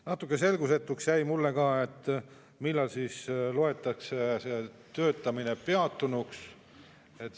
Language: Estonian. Natuke selgusetuks jäi mulle ka, millal siis loetakse see töötamine peatunuks.